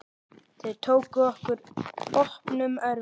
Þau tóku okkur opnum örmum.